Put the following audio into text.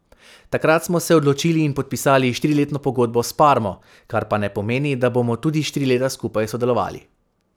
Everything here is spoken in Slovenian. Takrat smo se odločili in podpisali štiriletno pogodbo s Parmo, kar pa ne pomeni, da bomo tudi štiri leta skupaj sodelovali.